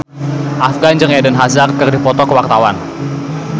Afgan jeung Eden Hazard keur dipoto ku wartawan